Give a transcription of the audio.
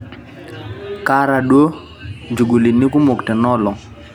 kaata duo ichugulini kumok tena olong